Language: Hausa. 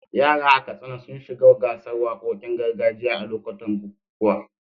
Yara a Katsina sun shiga gasar wakokin gargajiya a lokutan bukukuwa.